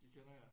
De kender jer?